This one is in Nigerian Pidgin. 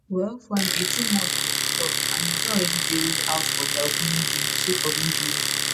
well for im 18 months for di club and e don already dey ruled out of dia opening game sake of injury.